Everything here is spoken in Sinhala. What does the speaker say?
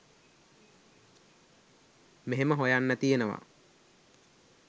මෙහෙම හොයන්න තියෙනවා